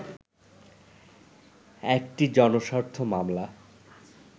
একটি জনস্বার্থ মামলা